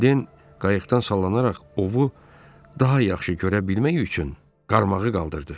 Den qayıqdan sallanaraq ovu daha yaxşı görə bilmək üçün qarmağı qaldırdı.